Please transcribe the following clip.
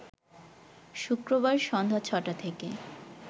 শুক্রবার সন্ধ্যা ছ'টা থেকে